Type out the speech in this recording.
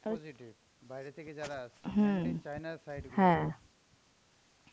বাইরে থেকে যারা আসছে China এর side থেকে